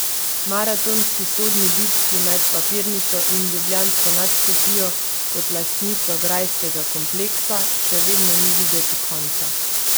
Maratonski sodni bitki med papirnico in ljubljansko nadškofijo kot lastnico grajskega kompleksa še vedno ni videti konca.